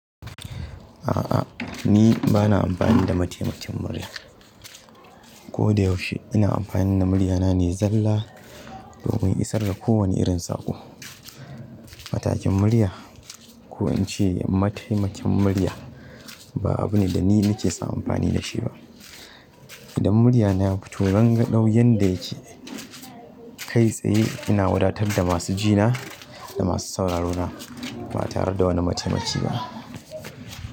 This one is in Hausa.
A'a ni bana amfani da mataimakin murya. Ko da yaushe ina amfani da murya na ne zalla domin isar da kowane irin saƙo. Matakin murya ko in ce mataimakin murya ba abu ne da ni nake sa amfani da shi ba. Idan murya na ya fito rangadau yanda yake kai tsaye ina wadatar da masu ji na da masu sauraro na ba tare da wani mataimaki ba.